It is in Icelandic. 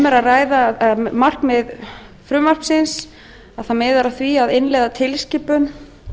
um er að ræða markmið frumvarpsins það miðar að því að innleiða tilskipun